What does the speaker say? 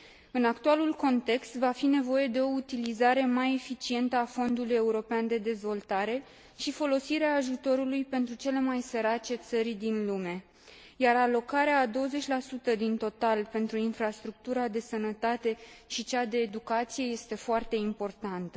În actualul context, va fi nevoie de o utilizare mai eficientă a Fondului european de dezvoltare și de folosirea ajutorului pentru cele mai sărace țări din lume, iar alocarea a 20 din total pentru infrastructura de sănătate și cea de educație este foarte importantă.